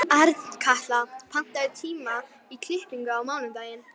Arnkatla, pantaðu tíma í klippingu á mánudaginn.